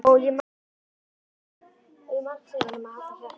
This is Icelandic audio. Og ég margsegi honum að halda kjafti.